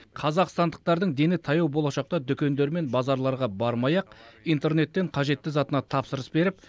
қазақстандықтардың дені таяу болашақта дүкендер мен базарларға бармай ақ интернеттен қажетті затына тапсырыс беріп